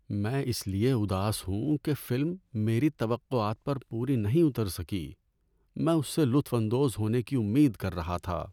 میں اس لیے اداس ہوں کہ فلم میری توقعات پر پوری نہیں اتر سکی۔ میں اس سے لطف اندوز ہونے کی امید کر رہا تھا۔